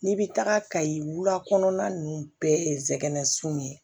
N'i bɛ taga kayi wula kɔnɔna ninnu bɛɛ ye zigana sun ye